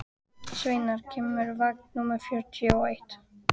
Sveinmar, hvenær kemur vagn númer fjörutíu og eitt?